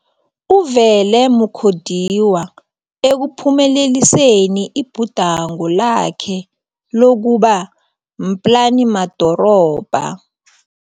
u-Vele Mu khodiwa ekuphumeleliseni ibhudango lakhe lokuba mplanimadorobha.